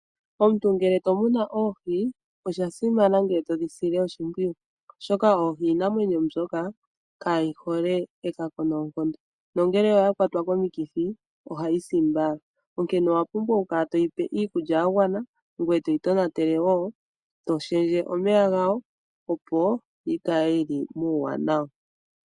Omuntu ngele tomuna oohi, oshasimana ngele todhi sile oshimpwiyu oshoka oohi iinamwenyo mbyoka kaayi hole ekako noonkondo nongele oya kwatwa komikithi ohayi si mbala. Onkene owa pumbwa oku kala toyi pe iikulya yagwana ngweye toyi tonatele woo, toshendje omeya gawo opo yikale yili muuwanawa.